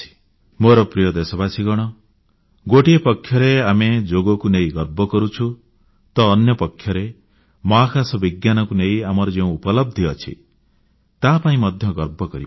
ମୋର ପ୍ରିୟ ଦେଶବାସୀଗଣ ଗୋଟିଏ ପକ୍ଷରେ ଆମେ ଯୋଗକୁ ନେଇ ଗର୍ବ କରୁଛୁ ତ ଅନ୍ୟପକ୍ଷରେ ମହାକାଶ ବିଜ୍ଞାନକୁ ନେଇ ଆମର ଯେଉଁ ଉପଲବ୍ଧି ଅଛି ତା ପାଇଁ ମଧ୍ୟ ଗର୍ବ କରିପାରିବା